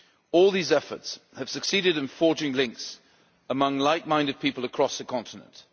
All these efforts have succeeded in forging links among like-minded people across the continent.